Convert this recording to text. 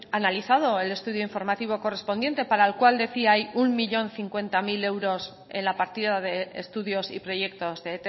analizado el estudio informativo correspondiente para el cual decía hay un millón cincuenta mil euros en la partida de estudios y proyectos de